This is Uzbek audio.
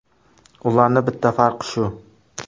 Ularning bitta farqi shu.